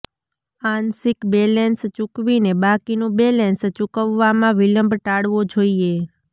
આંશિક બેલેન્સ ચૂકવીને બાકીનું બેલેન્સ ચૂકવવામાં વિલંબ ટાળવો જોઈએ